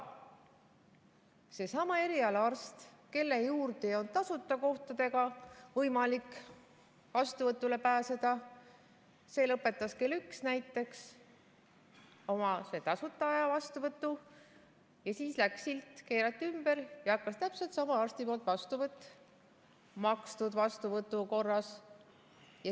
Seesama eriarst, kelle juurde ei olnud tasuta ajale võimalik vastuvõtule pääseda, lõpetas näiteks kell üks oma tasuta vastuvõtu, siis keerati silt ümber ja hakkas täpselt sama arsti vastuvõtt makstud vastuvõtu korras.